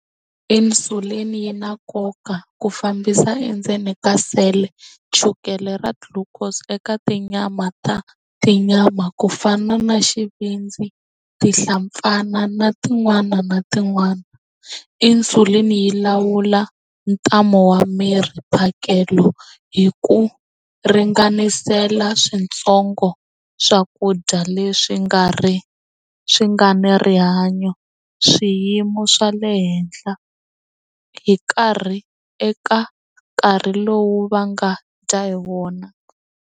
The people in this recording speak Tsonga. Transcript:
Insulin yi na nkoka ku fambisa endzeni ka cell chukele ra glucose eka tinyama ta tinyama ku fana na xivindzi tihlampfana na tin'wana na tin'wana insulin yi lawula ntamu wa miri phakelo hi ku ringanisela switsongo swakudya leswi nga ri swi nga ni rihanyo swiyimo swa le henhla hi karhi eka nkarhi lowu va nga dya hi wona.